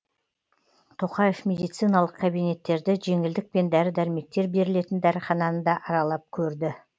тоқаев медициналық кабинеттерді жеңілдікпен дәрі дәрмектер берілетін дәріхананы да аралап көрді